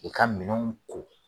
I ka minɛnw ko